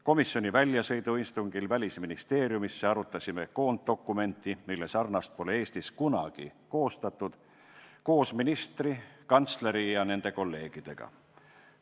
Komisjoni väljasõiduistungil Välisministeeriumisse arutasime koonddokumenti, mille sarnast pole Eestis kunagi koostatud, koos ministri, kantsleri ja nende kolleegidega.